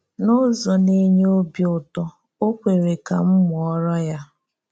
N’ụ́zọ na-enye òbì ụ̀tọ̀, ọ kweerè ka m mụọrọ ya